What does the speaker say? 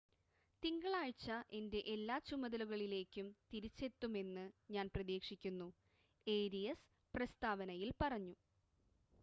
തിങ്കളാഴ്ച എൻ്റെ എല്ലാ ചുമതലകളിലേക്കും തിരിച്ചെത്തുമെന്ന് ഞാൻ പ്രതീക്ഷിക്കുന്നു ഏരിയസ് പ്രസ്താവനയിൽ പറഞ്ഞു